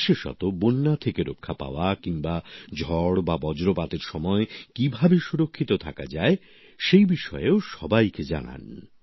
বিশেষত বন্যা থেকে রক্ষা পাওয়া কিংবা ঝড় বা বজ্রপাতের সময় কিভাবে সুরক্ষিত থাকা যায় সেই বিষয়েও সবাইকে জানান